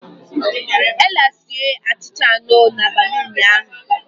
Ella sie achịcha anọ n'abalị ụnyaahụ.